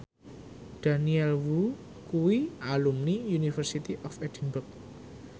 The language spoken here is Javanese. Daniel Wu kuwi alumni University of Edinburgh